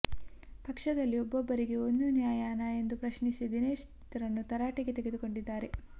ಪಕ್ಷದಲ್ಲಿ ಒಬ್ಬೊಬ್ಬರಿಗೆ ಒಂದು ನ್ಯಾಯನಾ ಎಂದು ಪ್ರಶ್ನಿಸಿ ದಿನೇಶ್ ರನ್ನು ತರಾಟೆಗೆ ತೆಗೆದುಕೊಂಡಿದ್ದಾರೆ